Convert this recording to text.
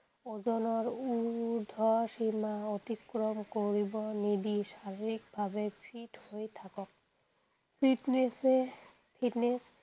ওজনৰ উ উৰ্দ্ধ সীমা অতিক্ৰম কৰিবলৈ নিদি শাৰীৰিকভাৱে fit হৈ থাকক। fitness এ fitness